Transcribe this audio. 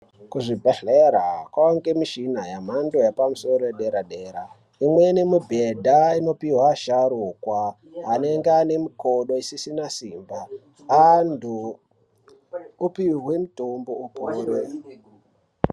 Kuzvibhedhlera kwane mishina yamhando yepamusoro yedera dera umweni mubhedha unopiwa vasharukwa anenge ane mikodo isisina simba antu opiwe mitombo upore.